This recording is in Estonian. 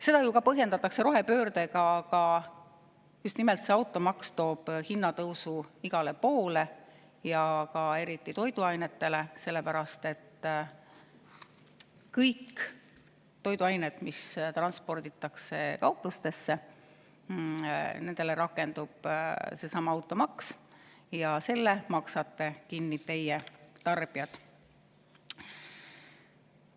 Seda ju ka põhjendatakse rohepöördega, aga just nimelt see automaks toob hinnatõusu igale poole ja eriti toiduainete hinna tõusu, sest kõigi toiduainete suhtes, mis transporditakse kauplustesse, rakendub seesama automaks ja selle maksate kinni teie, tarbijad.